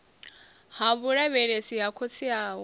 ha vhulavhelesi ha khotsi awe